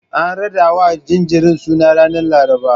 An raɗawa jinjirin suna ranar Laraba.